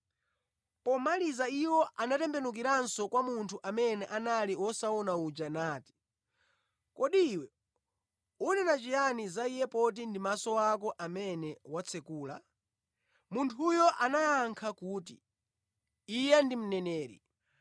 Pomaliza iwo anatembenukiranso kwa munthu amene anali wosaona uja nati, “Kodi iwe unena chiyani za Iye poti ndi maso ako amene watsekula?” Munthuyo anayankha kuti, “Iye ndi mneneri.”